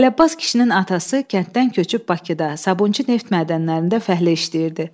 Əlabbas kişinin atası kənddən köçüb Bakıda Sabunçu neft mədənlərində fəhlə işləyirdi.